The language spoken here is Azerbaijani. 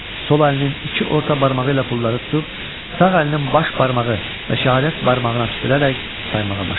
Sol əlinin iki orta barmağı ilə pulları tutub, sağ əlinin baş barmağı və şəhadət barmağına tüpürərək saymağa başladı.